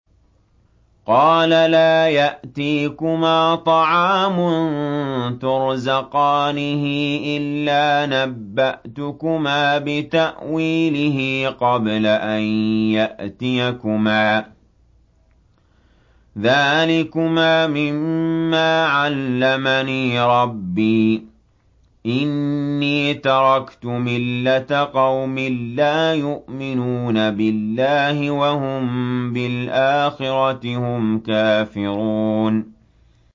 قَالَ لَا يَأْتِيكُمَا طَعَامٌ تُرْزَقَانِهِ إِلَّا نَبَّأْتُكُمَا بِتَأْوِيلِهِ قَبْلَ أَن يَأْتِيَكُمَا ۚ ذَٰلِكُمَا مِمَّا عَلَّمَنِي رَبِّي ۚ إِنِّي تَرَكْتُ مِلَّةَ قَوْمٍ لَّا يُؤْمِنُونَ بِاللَّهِ وَهُم بِالْآخِرَةِ هُمْ كَافِرُونَ